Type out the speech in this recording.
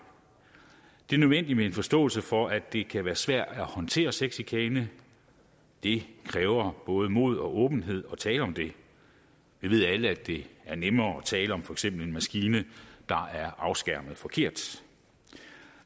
det er nødvendigt med en forståelse for at det kan være svært at håndtere sexchikane det kræver både mod og åbenhed at tale om det vi ved alle at det er nemmere at tale om for eksempel en maskine der er afskærmet forkert